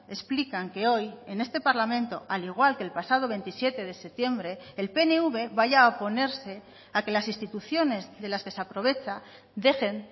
explican que hoy en este parlamento al igual que el pasado veintisiete de septiembre el pnv vaya a oponerse a que las instituciones de las que se aprovecha dejen